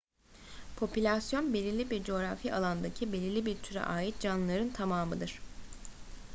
popülasyon belirli bir coğrafi alandaki belirli bir türe ait canlıların tamamıdır